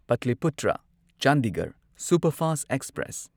Pataliputra Chandigarh superfast express